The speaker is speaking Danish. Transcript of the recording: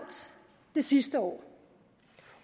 det sidste år